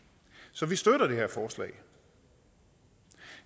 så vi støtter det her forslag